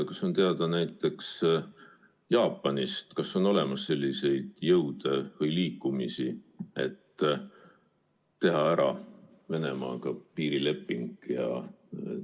Kas on teada, et näiteks Jaapanis on selliseid jõude või liikumisi, et teha Venemaaga piirileping ära?